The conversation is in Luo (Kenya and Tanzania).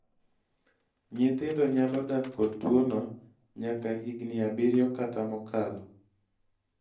nyithindo nyalo dak kod tuwono nyaka higni abirio kata mokalo